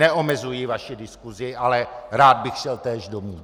Neomezuji vaši diskusi, ale rád bych šel též domů.